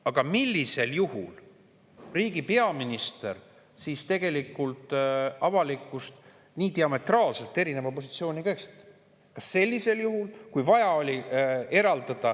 Aga riigi peaminister siis tegelikult avalikkust nii diametraalselt erineva positsiooniga eksitab?